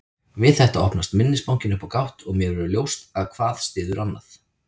Við þetta opnast minnisbankinn upp á gátt og mér verður ljóst að hvað styður annað.